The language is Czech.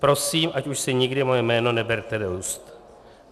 Prosím, ať už si nikdy moje jméno neberete do úst.